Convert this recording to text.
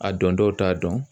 A don dɔw t'a dɔn.